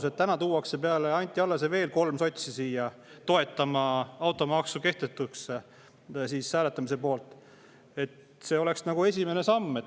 See, et täna tuuakse peale Anti Allase veel kolm sotsi siia toetama automaksu kehtetuks poolt hääletama, oleks nagu esimene samm.